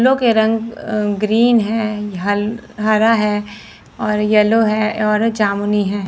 लो के रंग अ ग्रीन है हल हरा है और येलो है और जमुनी है।